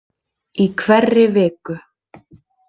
Í hverri viku.